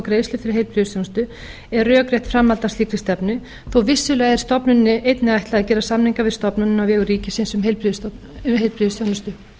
um kaupsamninga og greiðslur til heilbrigðisþjónustu er rökrétt framhald af slíkri stefnu þó vissulega sé stofnuninni einnig ætlað að gera samninga við stofnanir á vegum ríkisins um heilbrigðisþjónustu